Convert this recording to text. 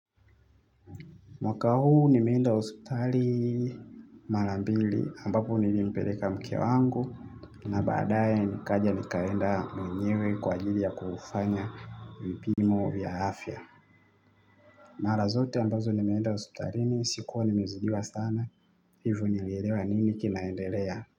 Mwaka huu nimeenda hospitali mara mbili ambapo nilimpeleka mke wangu na baadaye nikaja nikaenda mwenyewe kwa ajili ya kufanya vipimo vya afya. Mara zote ambazo nimeenda hospitalini sikuwa nimezidiwa sana hivyo nilielewa nini kinaendelea.